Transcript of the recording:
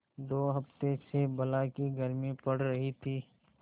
दो हफ्ते से बला की गर्मी पड़ रही थी